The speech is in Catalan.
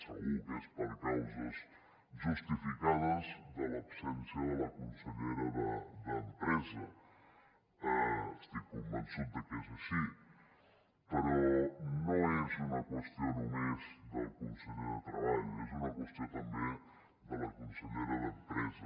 segur que és per causes justificades de l’absència de la consellera d’empresa estic convençut de que és així però no és una qüestió només del conseller de treball és una qüestió també de la consellera d’empresa